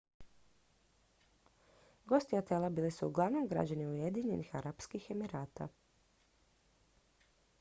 gosti hotela bili su uglavnom građani ujedinjenih arapskih emirata